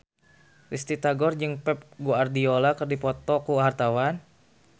Risty Tagor jeung Pep Guardiola keur dipoto ku wartawan